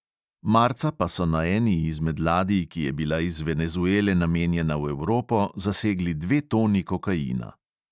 Marca pa so na eni izmed ladij, ki je bila iz venezuele namenjena v evropo, zasegli dve toni kokaina.